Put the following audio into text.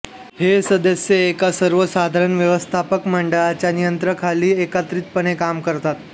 हे सदस्य एका सर्वसाधारण व्यवस्थापक मंडळा च्या नियंत्रणाखाली एकत्रितपणे काम करतात